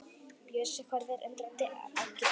Bjössi horfir undrandi á Kidda.